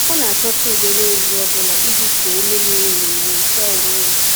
Ọ na-achọta udo n’ehihie ọ bụla iji kuo ume miri emi ma nyochaa onwe ya.